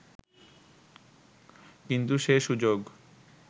কিন্তু সে সুযোগ